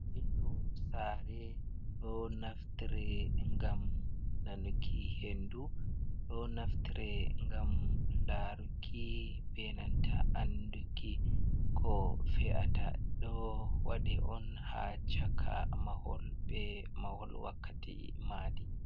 Vindo saare ɗo naftire ngam nanuki hendu ɗo naftire ngam laruki be nanta anduki ko fe’ata ɗo waɗe on ha chaka mahol wakkati maɗi.